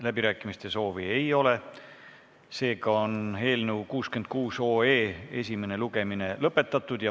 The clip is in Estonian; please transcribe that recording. Läbirääkimiste soovi ei ole, seega on eelnõu 66 esimene lugemine lõpetatud.